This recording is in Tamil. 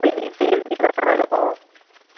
போய் நீ போய் இருக்கும்